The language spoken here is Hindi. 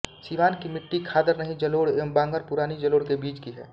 सिवान की मिट्टी खादर नयी जलोढ एवं बांगर पुरानी जलोढ के बीच की है